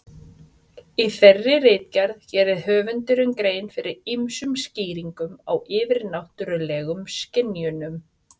Í þeirri ritgerð gerir höfundur grein fyrir ýmsum skýringum á yfirnáttúrulegum skynjunum.